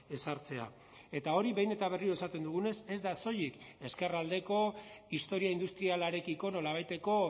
ezartzea eta hori behin eta berriro esaten dugunez ez da soilik ezkerraldeko historia industrialarekiko nolabaiteko